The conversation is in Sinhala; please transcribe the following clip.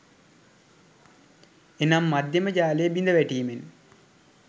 එනම් මධ්‍යම ජාලය බිඳවැටීමෙන්